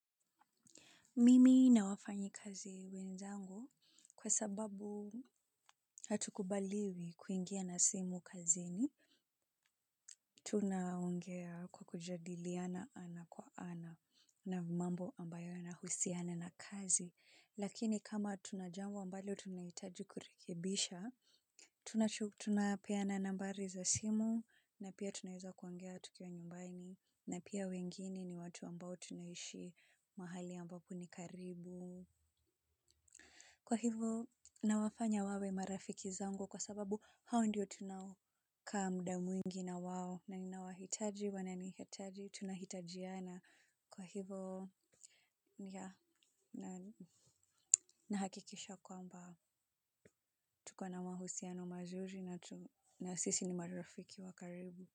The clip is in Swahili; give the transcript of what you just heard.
Mimi na wafanyi kazi wenzangu kwa sababu hatukubaliwi kuingia na simu kazini. Tuna ongea kwa kujadiliana ana kwa ana na mambo ambayo nahusiana na kazi. Lakini kama tunajango ambalo tunaitaji kurekebisha, tuna peana nambari za simu na pia tunaeza kwongea tukiwa nyumbaini na pia wengine ni watu ambao tunaishi mahali ambapo ni karibu. Kwa hivo nawafanya wawe marafiki zango kwa sababu hao ndio tunao kaa mda mwingi na wao na ninawahitaji wananihataji tunahitajiana kwa hivo ya nahakikisha kwamba tukona mahusiano mazuri na sisi ni marafiki wakaribu.